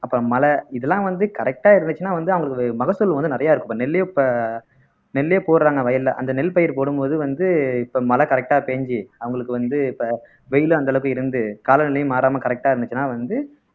அப்புறம் மழை இதெல்லாம் வந்து correct ஆ இருந்துச்சுன்னா வந்து அவங்களுக்கு மகசூல் வந்து நிறைய இருக்கும் இப்ப நெல்லே இப்ப நெல்லே போடுறாங்க வயல்ல அந்த நெல் பயிர் போடும் போது வந்து இப்ப மழை correct ஆ பேஞ்சு அவங்களுக்கு வந்து இப்ப வெயிலும் அந்த அளவுக்கு இருந்து காலநிலையும் மாறாம correct ஆ இருந்துச்சுன்னா வந்து